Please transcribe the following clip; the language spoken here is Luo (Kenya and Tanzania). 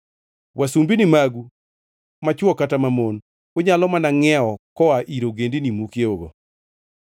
Wasumbini magu machwo kata mamon, unyalo mana ngʼiewo koa ir ogendini mukiewogo.